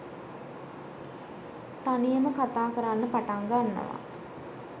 තනියම කතා කරන්න පටන් ගන්නවා